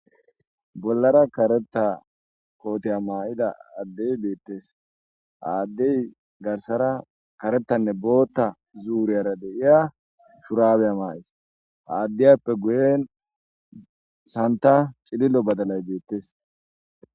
bollara kareta kooteya maa7ida addey deettes aaddey garsara karettanne bootta zuuriyara deiya shuraabeya maa7is aaddiyappe guyen santa cilillo badalay deettes